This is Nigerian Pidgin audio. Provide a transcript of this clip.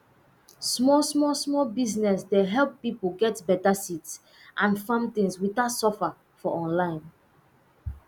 small small small business dey help pipo get beta seeds and farm things without suffer for online